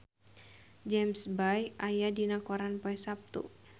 James Bay aya dina koran poe Saptu